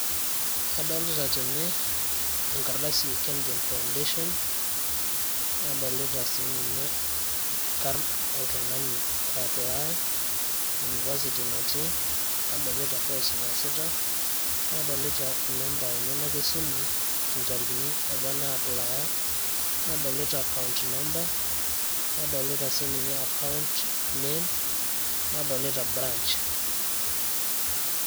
adolita tene enkardasi e kengen foundation. nadolita sii ninye nkarn oltungani oaplaaya, university natii, nadolita course naasita, nadolita inamba enyenak esimu, intarikini apa naaplya, nadolita account number, nadolita sii ninche account name, nadolita branch.